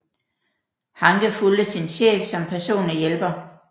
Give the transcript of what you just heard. Hanke fulgte sin chef som personlig hjælper